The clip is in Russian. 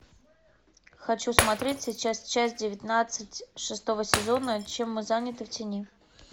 хочу смотреть сейчас часть девятнадцать шестого сезона чем мы заняты в тени